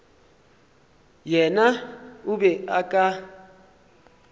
yena o be o ka